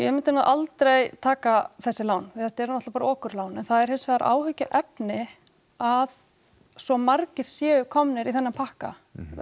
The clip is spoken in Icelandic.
myndi nú aldrei taka þessi lán því þetta eru náttúrulega bara okurlán en það er hins vegar áhyggjuefni að svo margir séu komnir í þennan pakka